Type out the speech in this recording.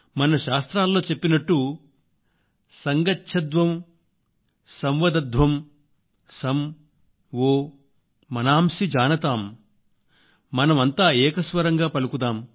మన శాస్త్రాల్లో చెప్పినట్టు సంగచ్ఛద్వం సంవదధ్వం సం వో మనాంసి జానతామ్ మనం అంతా ఏకస్వరంగా పలుకుదాం